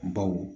Baw